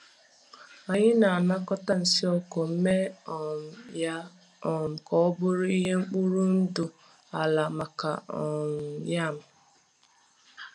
Anyị na-anakọta nsị ọkụkọ mee um ya um ka ọ bụrụ ihe mkpụrụ ndụ ala maka um yam.